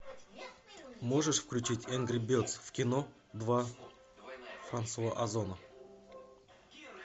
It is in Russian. можешь включить энгри бердс в кино два франсуа озона